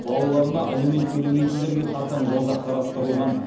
балаларына алимент төлемейтіндерге қатаң жаза қарастырылған